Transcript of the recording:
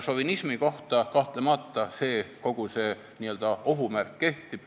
Šovinismi kohta kahtlemata kogu see n-ö ohumärk kehtib.